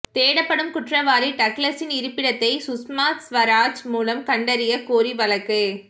தேடப்படும் குற்றவாளி டக்ளஸின் இருப்பிடத்தை சுஷ்மா ஸ்வராஜ் மூலம் கண்டறியக் கோரி வழக்கு